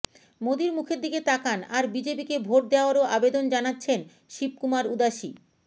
মোদীর মুখের দিকে তাকান আর বিজেপিকে ভোট দেওয়ারও আবেদন জানাচ্ছেন শিবকুমার উদাসি